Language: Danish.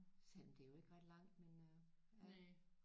Selvom det er jo ikke ret langt men øh